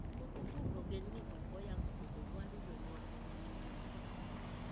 Moko kuom ogendini ok oyango pogo mwandu jonyuol ne ng'ato ka ng'ato.